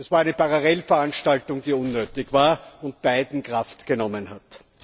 Es war eine Parallelveranstaltung, die unnötig war und beiden Kraft genommen hat.